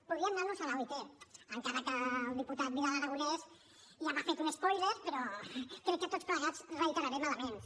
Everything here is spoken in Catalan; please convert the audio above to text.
podríem anar a l’oit encara que el diputat vidal aragonés ja m’ha fet un spoiler però crec que tots plegats reiterarem elements